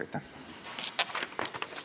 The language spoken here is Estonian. Aitäh!